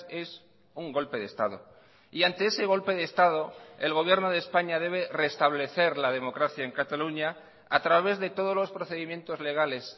es un golpe de estado y ante ese golpe de estado el gobierno de españa debe restablecer la democracia en cataluña a través de todos los procedimientos legales